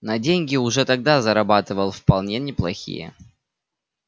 но деньги уже тогда зарабатывал вполне неплохие